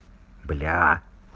бля